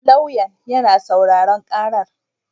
Lauyan yana sauraron karar